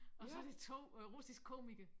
Og så det 2 øh russiske komikere